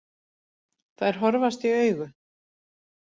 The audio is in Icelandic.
Þær horfast í augu.